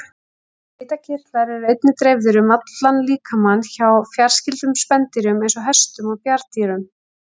Svitakirtlar eru einnig dreifðir um allan líkamann hjá fjarskyldum spendýrum eins og hestum og bjarndýrum.